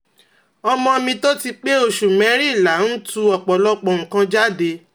ọmọ mi tó ti pé òṣù merìnlá ń tú ọ̀pọ̀lọpọ̀ nǹkan jáde